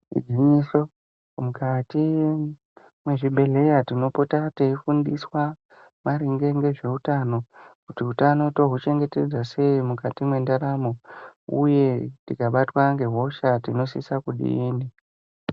Igwinyiso mukati mezvibhedhlera tipota teifundiswa maringe nezvehutano kuti hutano touchengetedza sei mukati mendaramo uye tikabatwa nehosha tinosisa kudini.